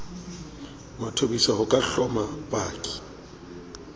mathobisa ho ka hloma paki